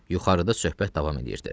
Yuxarıda söhbət davam eləyirdi.